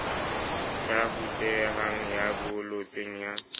sa rutehang ya bolotseng ya